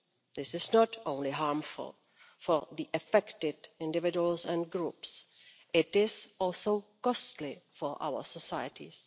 This is not only harmful for the affected individuals and groups it is also costly for our societies.